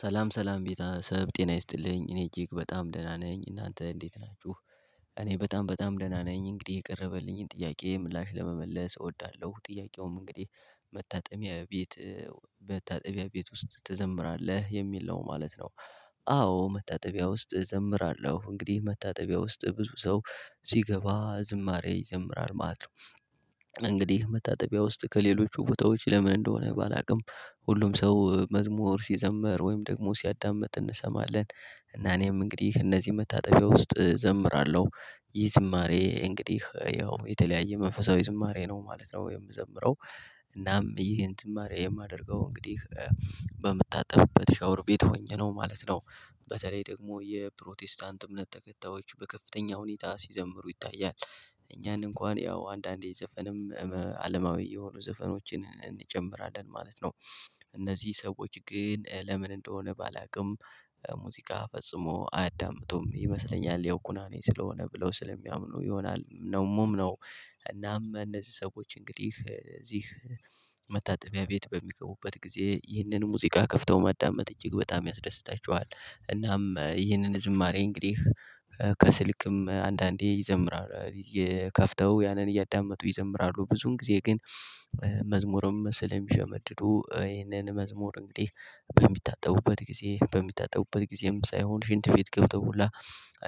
ሰላም ሰላም ቤት አሰብ ጤና ይስጥልኝ እኔ እጅግ በጣም ደህና ነኝ እናንተ እንዴት ናችሁ? እኔ በጣም በጣም ደህና ነኝ። እንግዲህ የቀረበልኝን ጥያቄ ምላሽ ለመመለስ እወዳለሁ። ጥያቄውም እንግዲህ መታጠቢያ ቤት? በመታጠቢያ ቤት ውስጥ ትዘምራለህ የሚል ነው ማለት ነው። አዎ መታጠቢያ ውስጥ እዘምራለሁ እንግዲህ መታጠቢያ ውስጥ ብዙ ሰው ሲገባ ዝማሬ ይዘምራል ማለት ነው። እንግዲህ መታጠቢያ ውስጥ ከሌሎቹ ቦታዎች ለምን እንደሆነ ባላውቅም ሁሉም ሰው መዝሙር ሲዘመር ወይም ደግሞ ሲያዳምጥ እንሰማለን። እና እኔም እንግዲህ እነዚህ መታጠቢያ ውስጥ እዘምራለሁ ይህ ዝማሬ እንግዲህ ያው የተለያየ መንፈሳዊ ዝማሬ ነው ማለት ነው የምዘምረው። እናም ይሄን ትማሬ የማደርገው እንግዲህ በምታጠብበት ሻወር ቤት ሆኜ ነው ማለት ነው። በተለይ ደግሞ የፕሮቴስታንት እምነት ተከታዮች በከፍተኛ ሁኔታ ሲዘምሩ ይታያል። እኛን እንኳን ያው አንዳንዴ ዘፈንም አለማዊ የሆኑ ዘፈኖችን እንጨምራለን ማለት ነው። እነዚህ ሰዎች ግን ለምን እንደሆነ ባላውቅም ሙዚቃ ፈጽሞ አያዳምጡም ይመስለኛል ያው ኩናኔ ስለሆነ ብለው ስለሚያምኑ ይሆናል ነው ደሞም ነው። እናም እነዚህ ሰዎች እንግዲህ እዚህ መታጠቢያ ቤት በሚገቡበት ጊዜ ይህንን ሙዚቃ ከፍተው ማዳመጥ እጅግ በጣም ያስደስታቸዋል። እናም ይህንን ዝማሬ እንግዲህ ከስልክም አንዳንዴ ይዘምራል እየከፈተው ያንን እያዳመጡ ይዘምራሉ። ብዙን ጊዜ ግን መዝሙርም መሰለኝ የሚሸመድዱ ይሄንን መዝሙር እንግዲህ በሚታጠቡበት ጊዜ በሚታጠቡበት ጊዜም ሳይሆን ሽንት ቤት ገብተውሁላ